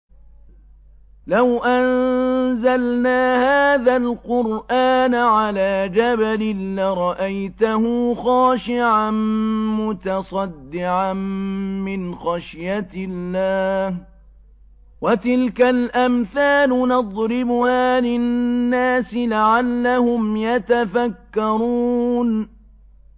لَوْ أَنزَلْنَا هَٰذَا الْقُرْآنَ عَلَىٰ جَبَلٍ لَّرَأَيْتَهُ خَاشِعًا مُّتَصَدِّعًا مِّنْ خَشْيَةِ اللَّهِ ۚ وَتِلْكَ الْأَمْثَالُ نَضْرِبُهَا لِلنَّاسِ لَعَلَّهُمْ يَتَفَكَّرُونَ